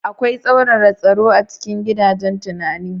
Akwai tsauraran tsaro a cikin gidajen tunani.